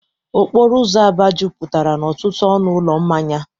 Okporo ụzọ Aba jupụtara n'ọtụtụ ọnụ ụlọ mmanya.